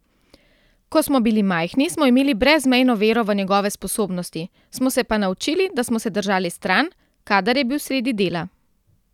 Ko smo bili majhni, smo imeli brezmejno vero v njegove sposobnosti, smo se pa naučili, da smo se držali stran, kadar je bil sredi dela.